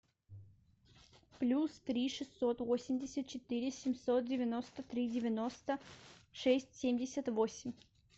плюс три шестьсот восемьдесят четыре семьсот девяносто три девяносто шесть семьдесят восемь